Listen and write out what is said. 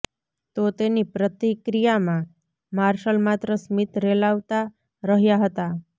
તો તેની પ્રતિક્રિયામાં માર્શલ માત્ર સ્મિત રેલાવતા રહ્યા હતા